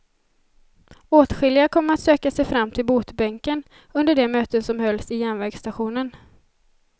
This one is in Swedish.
Åtskilliga kom att söka sig fram till botbänken under de möten som hölls i järnvägsstationen.